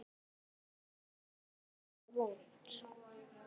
Hvar er það vont?